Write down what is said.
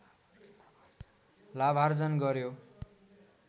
लाभार्जन गर्‍यो